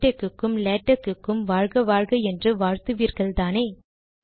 BibTeX க்கும் லேடக்கும் வாழ்க வாழ்க என்று வாழ்த்துவீர்கள்தானே